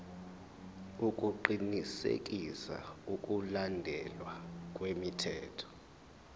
ukuqinisekisa ukulandelwa kwemithetho